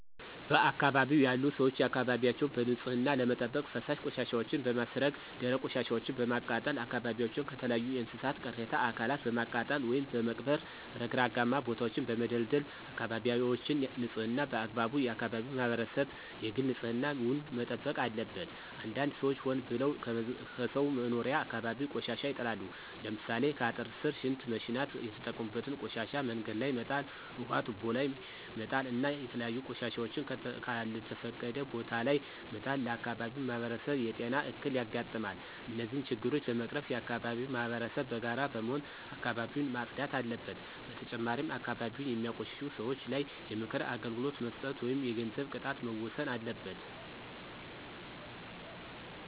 በአካባቢው ያሉ ሰዎች አካባቢያቸውን በንፅህና ለመጠበቅ ፈሳሽ ቆሻሻወችን በማስረገ ደረቅ ቆሻሻወችን በማቃጠል አካባቢዎችን ከተለያዩ የእንስሳት ቅሬተ አካላትን በማቃጠል ወይም በመቅበር ረግረጋማ ቦታወችን በመደልደል አካበቢወችን ንፅህና በአግባቡ የአከባቢው ማህበረሰብ የግል ንፅህና ዉን መጠበቅ አለበት። አንዳንድ ሰዎች ሆን ብለው ከሰው መኖሪያ አካባቢ ቆሻሻ ይጥላሉ። ለምሳሌ ከአጥር ስር ሽንት መሽናት የተጠቀሙበትን ቆሻሻ መንገድ ላይ መጣል ውሀ ቱቦ ላይ መጣል እና የተለያዩ ቆሻሻወችን ከልተፈቀደ ቦታ ለይ መጣል ለአካባቢው ማህበረሰብ የጤና እክል ያጋጥማል። እነዚህን ችግሮች ለመቀረፍ የአከባቢው ማህበረሰብ በጋራ በመሆን አካባቢውን ማፅዳት አለበት። በተጨማሪም አካባቢን የሚያቆሽሹ ሰወች ላይ የምክር አገልግሎት መስጠት ወይም የገንዘብ ቅጣት መወሰን አለበት።